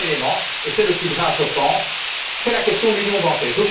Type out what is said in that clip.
Dernier élément c'est le plus grave, je pense c'est la question de l'union bancaire.